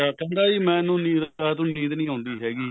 ਕਹਿੰਦਾ ਜੀ ਮੈਨੂੰ ਰਾਤ ਨੂੰ ਨੀਂਦ ਨਹੀਂ ਆਉਂਦੀ ਹੈਗੀ